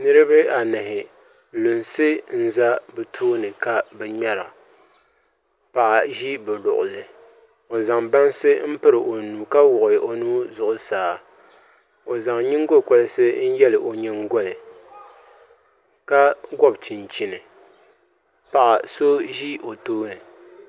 Niraba anahi lunsi n ʒɛ bi tooni ka bi ŋmɛra paɣa ʒi bi luɣuli ni n zaŋ bansi piri o nuhi ka wuɣi o nuu zuɣusaa o zaŋ nyingokoriti n yɛ o nyingoli ka gobi chinchini paɣa so ʒi o tooni